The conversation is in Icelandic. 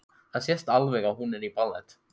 Það sést alveg að hún er í ballett.